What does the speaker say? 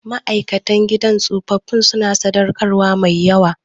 Ma'aikatan gidan tsofaffi suna sadaukarwa mai yawa